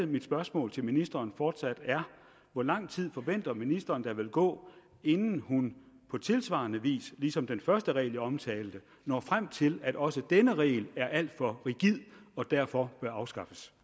mit spørgsmål til ministeren fortsat hvor lang tid forventer ministeren der vil gå inden hun på tilsvarende vis ligesom med den første regel jeg omtalte når frem til at også denne regel er alt for rigid og derfor bør afskaffes